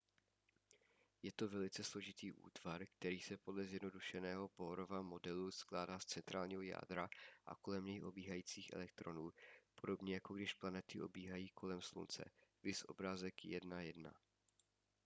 je to velice složitý útvar který se podle zjednodušeného bohrova modelu skládá z centrálního jádra a kolem něj obíhajících elektronů podobně jako když planety obíhají kolem slunce –⁠ viz obrázek 1.1